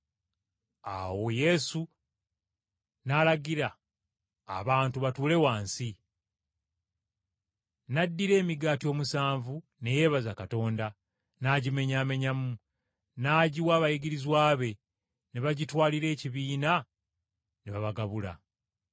Awo Yesu n’alagira abantu batuule wansi. N’addira emigaati omusanvu, ne yeebaza Katonda, n’agimenyaamenyamu, n’agiwa abayigirizwa be ne bagitwalira ekibiina ne babagabula.